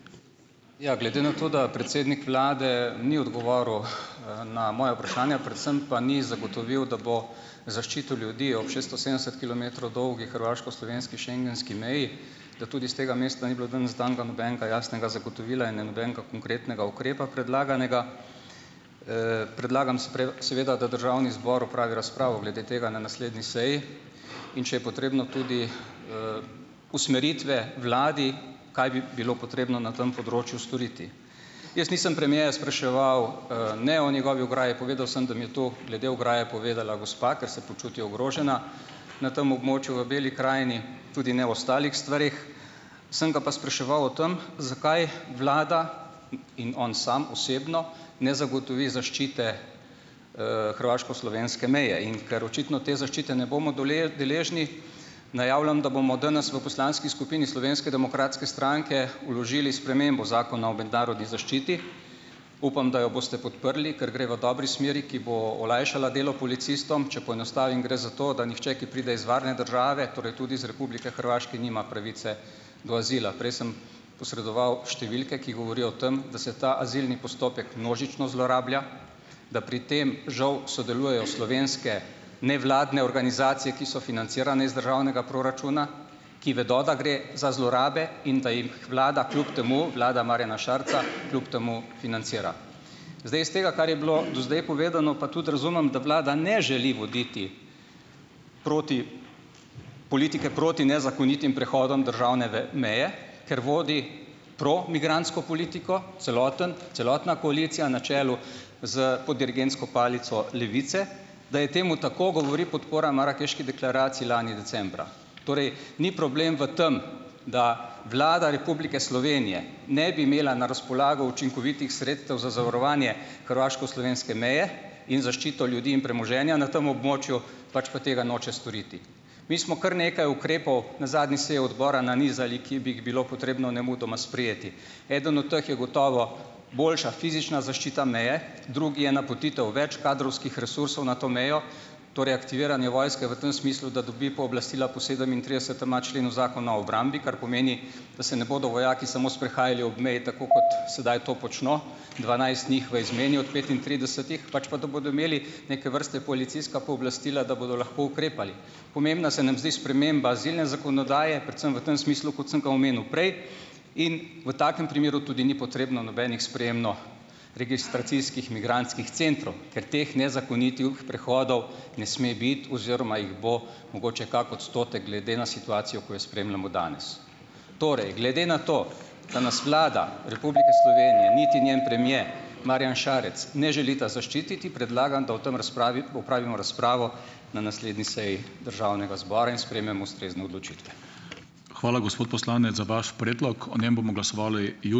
Ja, glede na to, da predsednik vlade ni odgovoril, na moja vprašanja, predvsem pa ni zagotovil, da bo zaščitil ljudi ob šestinosemdeset kilometrov dolgi hrvaško-slovenski schengenski meji, da tudi s tega mesta ni bilo danes danega nobenega jasnega zagotovila in nobenega konkretnega ukrepa predlaganega, predlagam, seveda da državni zbor opravi razpravo glede tega na naslednji seji, in če je potrebno tudi, usmeritve vladi, kaj bi bilo potrebno na tem področju storiti. Jaz nisem premierja spraševal, ne o njegovi ograji, povedal sem, da mi je to glede ograje povedala gospa, ker se počuti ogrožena na tem območju v Beli krajini, tudi ne o ostalih stvareh. Sem ga pa spraševal o tem, zakaj vlada in on sam osebno, ne zagotovi zaščite, hrvaško-slovenske meje, in ker očitno te zaščite ne bomo deležni, najavljam, da bomo danes v poslanski skupini Slovenske demokratske stranke vložili spremembo Zakona o mednarodni zaščiti. Upam, da jo boste podprli, ker gre v dobri smeri, ki bo olajšala delo policistom. Če poenostavim gre za to, da nihče, ki pride iz varne države, torej tudi iz Republike Hrvaške, nima pravice do azila. Prej sem posredoval številke, ki govorijo o tem, da se ta azilni postopek množično zlorablja, da pri tem žal sodelujejo slovenske nevladne organizacije, ki so financirane iz državnega proračuna, ki vedo, da gre za zlorabe in da jih vlada kljub temu, vlada Marjana Šarca kljub temu financira. Zdaj iz tega, kar je bilo do zdaj povedano, pa tudi razumem, da vlada ne želi voditi proti politike proti nezakonitim prehodom državne meje, ker vodi promigrantsko politiko, celoten celotna koalicija na čelu s pod dirigentsko palico Levice. Da je temu tako, govori podpora marakeški deklaraciji lani decembra. Torej, ni problem v tem, da Vlada Republike Slovenije ne bi imela na razpolago učinkovitih sredstev za zavarovanje hrvaško-slovenske meje in zaščito ljudi in premoženja na tem območju, pač pa tega noče storiti. Mi smo kar nekaj ukrepov na zadnji seji odbora nanizali, ki bi jih bilo potrebno nemudoma sprejeti. Eden od teh je gotovo boljša fizična zaščita meje, drugi je napotitev več kadrovskih resursov na to mejo, torej aktiviranje vojske v tem smislu, da dobi pooblastila po sedemintridesetema členu Zakona o obrambi, kar pomeni, da se ne bodo vojaki samo sprehajali ob meji, tako kot sedaj to počno, dvanajst njih v izmeni od petintridesetih, pač pa da bodo imeli neke vrste policijska pooblastila, da bodo lahko ukrepali. Pomembna se nam zdi sprememba azilne zakonodaje, predvsem v tem smislu, kot sem ga omenil prej, in v takem primeru tudi ni potrebno nobenih sprejemno- registracijskih migrantskih centrov, ker teh nezakonitih prehodov ne sme biti oziroma jih bo mogoče kak odstotek glede na situacijo, ko jo spremljamo danes. Torej, glede na to, da nas Vlada Republike Slovenije niti njen premier Marjan šarec ne želita zaščititi, predlagam, da o tem opravimo razpravo na naslednji seji državnega zbora in sprejmemo ustrezne odločitve.